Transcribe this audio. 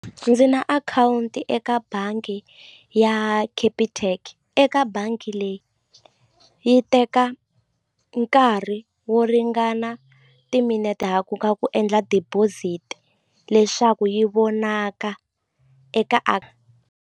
Ndzi na akhawunti eka bangi ya Capitec eka bangi leyi yi teka nkarhi wo ringana timinete ha ku ka ku endla deposit leswaku yi vonaka eka a.